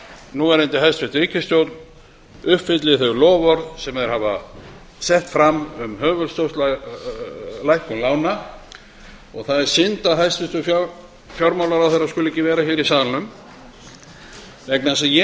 núverandi hæstvirt ríkisstjórn uppfylli þau loforð sem hún setti fram um höfuðstólslækkun lána það er synd að hæstvirtur fjármálaráðherra skuli ekki vera í salnum vegna þess að ég